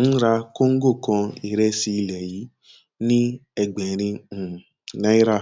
ń ra kọńgò kan ìrẹsì ilé yìí ní ẹgbẹrin um náírà